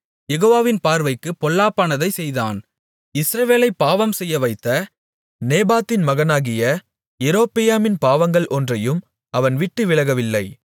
யெகோவாவின் பார்வைக்குப் பொல்லாப்பானதைச் செய்தான் இஸ்ரவேலைப் பாவம்செய்யவைத்த நேபாத்தின் மகனாகிய யெரொபெயாமின் பாவங்கள் ஒன்றையும் அவன் விட்டுவிலகவில்லை